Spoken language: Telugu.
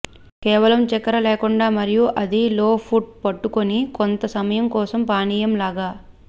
కేవలం చక్కెర లేకుండా మరియు అది లో ఫుట్ పట్టుకుని కొంత సమయం కోసం పానీయం లాగా